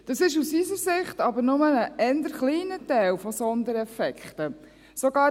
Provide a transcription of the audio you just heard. Dies ist aus unserer Sicht aber nur ein eher kleiner Teil, der auf Sondereffekte zurückzuführen ist.